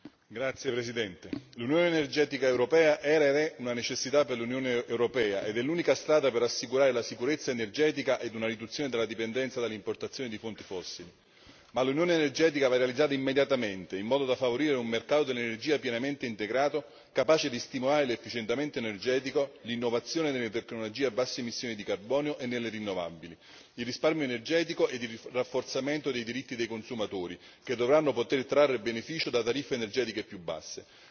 Signor Presidente, onorevoli colleghi, l'unione energetica europea era ed è una necessità per l'Unione europea ed è l'unica strada per assicurare la sicurezza energetica ed una riduzione della dipendenza dalle importazioni di fonti fossili, ma l'unione energetica va realizzata immediatamente, in modo da favorire un mercato dell'energia pienamente integrato capace di stimolare l'efficienza energetica, l'innovazione delle tecnologie a basse emissioni di carbonio e nelle rinnovabili, il risparmio energetico e il rafforzamento dei diritti dei consumatori, che dovranno poter trarre beneficio da tariffe energetiche più basse.